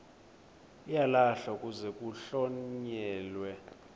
uyalahlwa kuze kuhlonyelwe